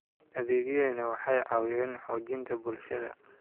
Adeegyadani waxay caawiyaan xoojinta bulshada.